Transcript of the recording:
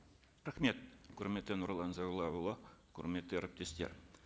рахмет құрметті нұрлан зайроллаұлы құрметті әріптестер